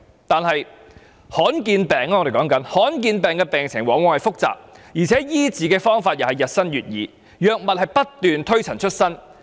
但是，我們討論的是罕見疾病，罕見疾病的病情往往很複雜，而且醫治的方法亦日新月異，藥物不斷推陳出新。